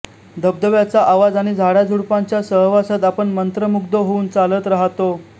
धबधब्याचा आवाज आणि झाडाझुडपांच्या सहवासात आपण मंत्रमुग्ध होऊन चालत राहतो